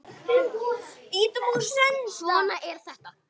Svona er þetta.